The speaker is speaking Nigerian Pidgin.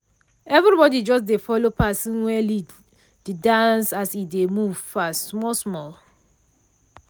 everybody just dey follow person wey lead de dance as e dey move fast small small.